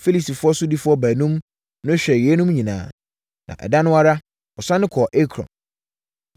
Filistifoɔ sodifoɔ baanum no hwɛɛ yeinom nyinaa, na ɛda no ara, wɔsane kɔɔ Ekron.